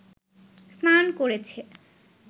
স্নান করেছে